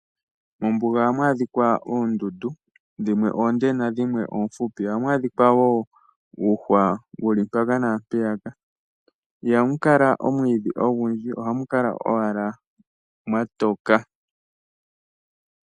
Mombuga oha mu adhikwa oondundu, dhimwe oonde na dhimwe oofupi, oha mu adhika woo uuhwa wu li mpaka nampeyaka, iha mu kala omwiidhi ogundji, oha mu kala owala mwa toka.